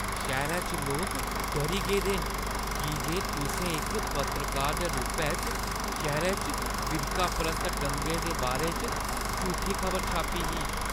शैह्‌रै च लोक डरी गेदे न की जे तुसें इक पत्रकार दे रूपै च शैह्‌रै च फिरकापरस्त दंगें दे बारे च झूठी खबर छापी ही।